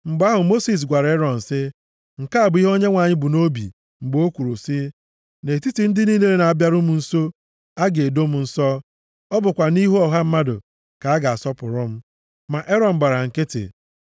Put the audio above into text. Mgbe ahụ, Mosis gwara Erọn sị, “Nke a bụ ihe Onyenwe anyị bu nʼobi mgbe o kwuru sị, “ ‘Nʼetiti ndị niile na-abịaru m nso ka a ga-edo m nsọ ọ bụkwa nʼihu ọha mmadụ, ka a ga-asọpụrụ m. + 10:3 A ga-ebulikwa m elu.’ ” Ma Erọn gbara nkịtị.